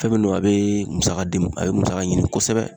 Fɛn min don a be musaka di a bɛ musaka ɲini kosɛbɛ.